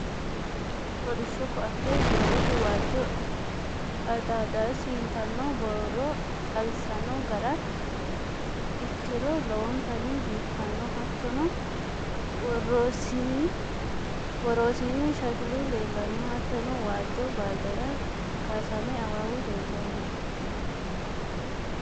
Kolishsho koaatte soolese waajjo Adidaasi yitanno borro xawissanno ga'ra ikki'ro lowontanni biifanno Hattono worosiinni shakilu leellanno Hattono waajjo baaldera kaasame Awawu leellanno